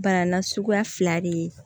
Bana na suguya fila de ye